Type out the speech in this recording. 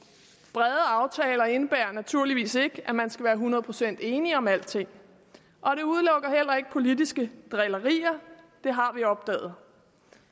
brede aftale indebærer naturligvis ikke at man skal være hundrede procent enige om alting og det udelukker heller ikke politiske drillerier det har vi opdaget